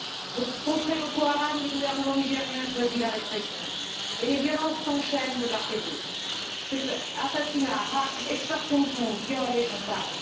Pour contrer Boko Haram, le gouvernement nigérian a choisi la répression, et les violences s'enchaînent de part et d'autre assassinats, rafles, extorsions de fonds, viols, et j'en passe.